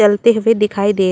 जलते हुए दिखाई दे--